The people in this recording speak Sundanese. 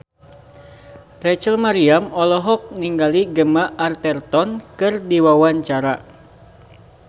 Rachel Maryam olohok ningali Gemma Arterton keur diwawancara